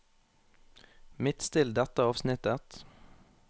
Midtstill dette avsnittet